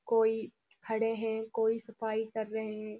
कोई खड़े हैं कोई सफाई कर रहे हैं।